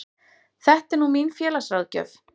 Þetta er nú mín félagsráðgjöf.